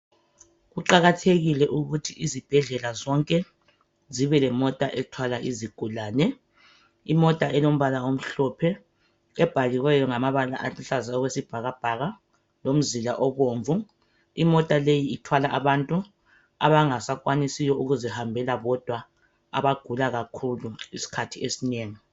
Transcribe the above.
Kuqakathekile ukuthi izibhedlela zonke zibelemota ethwala izigulane. Imota elombala omhlophe ebhaliweyo ngamabala aluhlaza okwesibhakabhaka lomzila obomvu. Imota leyi ithwala abantu abangasakwanisiyo ukuzihambela bodwa isikhathi esinengi.